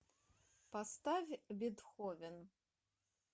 поставь бетховен